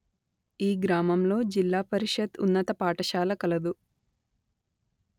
ఈ గ్రామంలో జిల్లా పరిషత్ ఉన్నత పాఠశాల కలదు